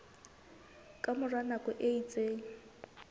ka mora nako e itseng